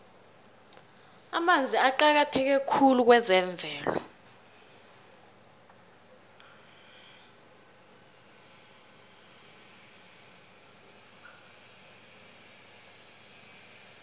amanzi aqakatheke khulu kwezemvelo